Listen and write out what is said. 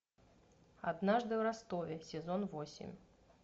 однажды в ростове сезон восемь